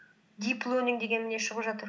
дип лернинг деген не шығып жатыр